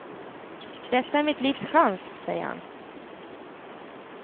Detta är mitt livs chans, säger han.